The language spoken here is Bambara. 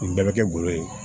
Nin bɛɛ bɛ kɛ golo ye